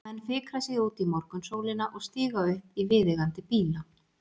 Menn fikra sig út í morgunsólina og stíga upp í viðeigandi bíla.